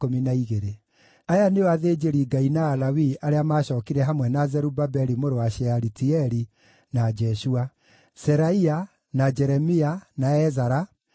Aya nĩo athĩnjĩri-Ngai na Alawii arĩa maacookire hamwe na Zerubabeli mũrũ wa Shealitieli, na Jeshua: Seraia, na Jeremia, na Ezara,